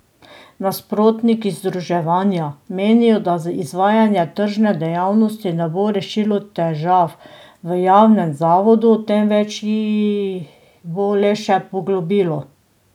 Nasprotniki združevanja menijo, da izvajanje tržne dejavnosti ne bo rešilo težav v javnem zavodu, temveč jih bo le še poglobilo.